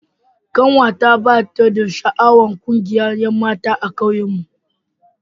Kanwata bata da sha'awar kungiyar 'yanmata a ƙauyen mu.